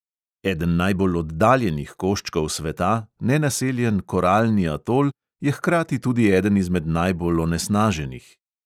Eden najbolj oddaljenih koščkov sveta, nenaseljen koralni atol, je hkrati tudi eden izmed najbolj onesnaženih.